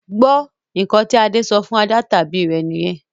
Gbó! Ǹkan tí Adé ṣọ fún ajá tàbí rẹ̀ nìyẹn